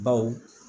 Baw